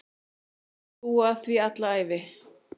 Menn búa að því alla ævi.